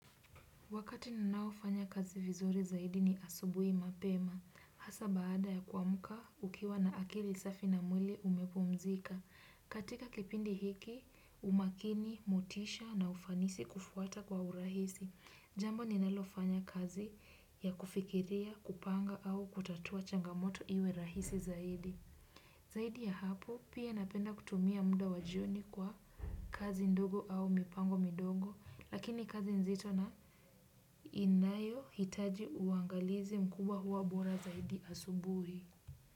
Wakati ninaofanya kazi vizuri zaidi ni asubuhi mapema, hasa baada ya kuamka ukiwa na akili safi na mwili umepumzika. Katika kipindi hiki, umakini, motisha na ufanisi kufuata kwa urahisi. Jambo ninalofanya kazi ya kufikiria, kupanga au kutatua changamoto iwe rahisi zaidi. Zaidi ya hapo, pia napenda kutumia muda wa jioni kwa kazi ndogo au mipango midogo, lakini kazi nzito na inayohitaji uangalizi mkubwa huwa bora zaidi asubuhi.